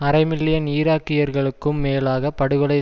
அரை மில்லியன் ஈராக்கியர்களுக்கும் மேலாக படுகொலை